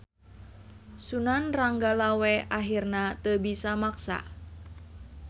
Sunan Ranggalawe ahirna teu bisa maksa.